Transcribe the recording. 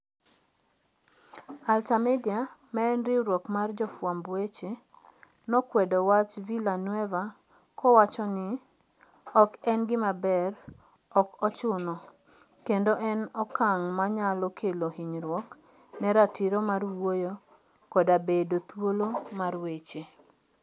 AlterMidya, ma en riwruok mar jofwamb weche, nokwedo wach Villanueva kowacho ni "ok en gima ber, ok ochuno, kendo en okang ' manyalo kelo hinyruok ne ratiro mar wuoyo koda bedo thuolo mar weche. "